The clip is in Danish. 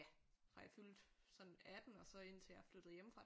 Ja fra jeg fyldte sådan atten og så indtil jeg flyttede hjemmefra